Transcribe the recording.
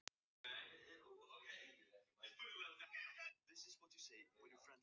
Þá vissu þeir að þar var síra Björn.